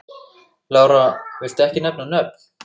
Lára: Viltu ekki nefna nöfn?